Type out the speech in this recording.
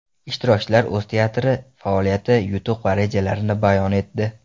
Ishtirokchilar o‘z teatri faoliyati, yutuq va rejalarini bayon etdi.